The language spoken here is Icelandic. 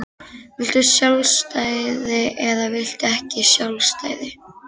Viltu sjálfstæði eða viltu ekki sjálfstæði?